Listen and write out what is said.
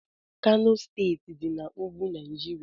Kano steeti dị na ugwu Naijiria